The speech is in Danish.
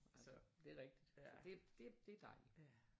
Så det er rigtigt så det det dejligt